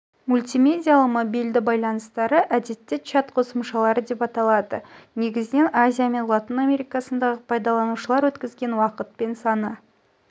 мультимедиалы мобильді ча йланыстары әдетте чат қосымшалары деп аталады негізінен азия мен латын америкасындағы пайдаланушылар өткізген уақыт пен саны